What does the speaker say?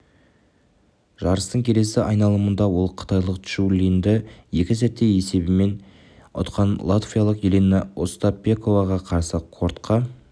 жарыстың келесі айналымында ол қытайлық чжу линьді екі сетте есебімен ұтқан латвиялық елена остапенкоға қарсы кортқа